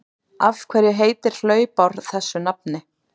Af hverju heitir hlaupár þessu nafni?